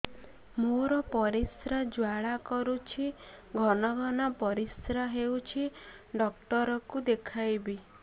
ମୋର ପରିଶ୍ରା ଜ୍ୱାଳା କରୁଛି ଘନ ଘନ ପରିଶ୍ରା ହେଉଛି ଡକ୍ଟର କୁ ଦେଖାଇବି